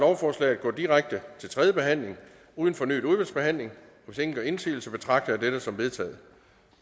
lovforslaget går direkte til tredje behandling uden fornyet udvalgsbehandling hvis ingen gør indsigelse betragter jeg dette som vedtaget